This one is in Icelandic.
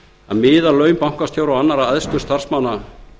að miða laun bankastjóra og annarra æðstu starfsmanna